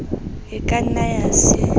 e ka nna ya se